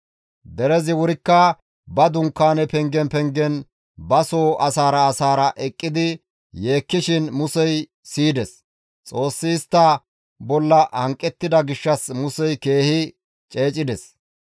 Derezi wurikka ba dunkaane pengen pengen baso asaara asaara eqqidi yeekkishin Musey siyides; Xoossi istta bolla hanqettida gishshas Musey keehi ceecides.